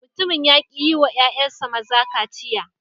Mutumin ya ki yi wa ‘ƴa’ƴansa maza kaciya.